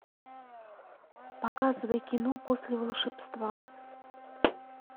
показывай кино после волшебства